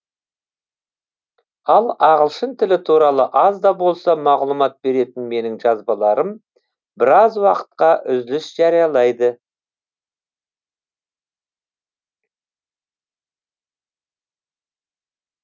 ал ағылшын тілі туралы аз да болса мағлұмат беретін менің жазбаларым біраз уақытқа үзіліс жариялайды